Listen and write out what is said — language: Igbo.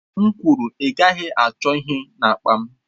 M kwuru, ị gaghị achọ ihe n'akpa m!